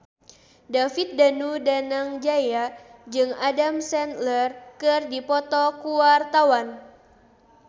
David Danu Danangjaya jeung Adam Sandler keur dipoto ku wartawan